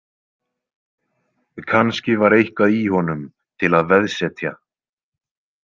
Kannski var eitthvað í honum til að veðsetja.